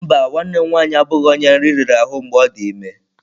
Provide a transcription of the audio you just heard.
Mba, nwanne m nwanyị abụghị onye nri riri ahụ mgbe ọ dị ime.